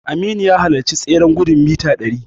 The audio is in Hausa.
Aminu ya halarci tsereren gudun mita ɗari.